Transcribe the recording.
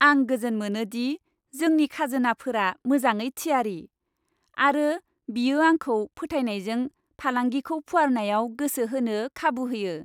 आं गोजोन मोनो दि जोंनि खाजोनाफोरा मोजाङै थियारि, आरो बियो आंखौ फोथायनायजों फालांगिखौ फुवारनायाव गोसो होनो खाबु होयो।